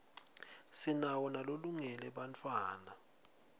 sinawo nalolungele bantfwatta